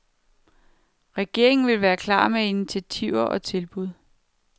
Regeringen vil være klar med initiativer og tilbud.